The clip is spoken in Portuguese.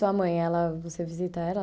E sua mãe, ela você visita ela?